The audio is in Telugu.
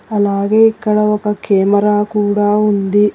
అలాగే ఇక్కడ ఒక కెమెరా కూడ ఉంది.